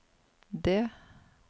D